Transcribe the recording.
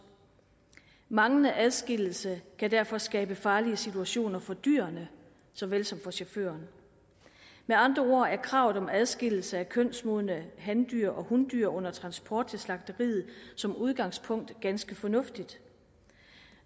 manglende adskillelse kan derfor skabe farlige situationer for dyrene såvel som for chaufførerne med andre ord er kravet om adskillelse af kønsmodne handyr og hundyr under transport til slagteriet som udgangspunkt ganske fornuftigt